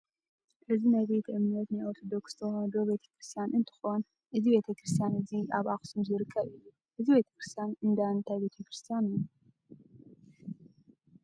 እዚ ናይ ቤተእምነት ናይ ኦርተዶክስ ተዋህዶ ቤተክርስትያን እንትኮን እዚ ቤተክርስትያን እዚ ኣብ ኣክሱም ዝርከብ እዩ። እዚ ቤተክርስትያን እዳእንታይ ቤተክርስትያን እዩ?